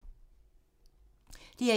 DR1